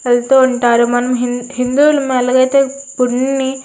వెళుతూ ఉంటారు మనం హిందువుల ఎలా అయితే కొన్ని --